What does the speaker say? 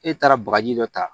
E taara bagaji dɔ ta